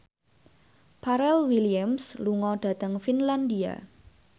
Pharrell Williams lunga dhateng Finlandia